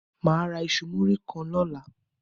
Má a ra iṣu muri kan lóla